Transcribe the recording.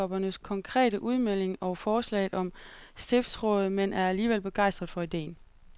Biskoppen ser ikke nogen sammenhæng mellem biskoppernes konkrete udmelding og forslaget om stiftsråd, men er alligevel begejstret for ideen.